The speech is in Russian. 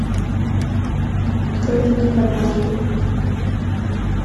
открой кино под маской